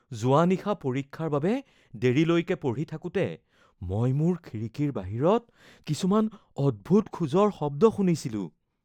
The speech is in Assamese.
যোৱা নিশা পৰীক্ষাৰ বাবে দেৰিলৈকে পঢ়ি থাকোঁতে মই মোৰ খিৰিকীৰ বাহিৰত কিছুমান অদ্ভুত খোজৰ শব্দ শুনিছিলো